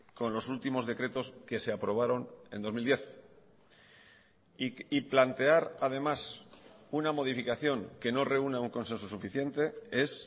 con los últimos decretos que se aprobaron en dos mil diez y plantear además una modificación que no reúna un consenso suficiente es